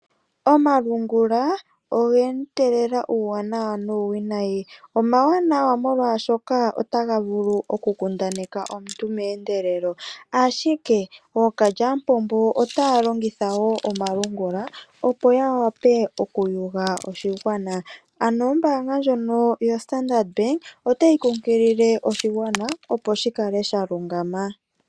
Omalungula oge etelela uuwanawa nuuwinayi . Omawanawa molwaashoka otaga vulu oku kundaneka omuntu meendelelo ashike ookalyamupombo otaya longitha omalungula opo yawape oku yuga oshigwana ,ano ombaanga ndjono ya Standard otayi kunkilile oshigwana opo shikale sha kotoka.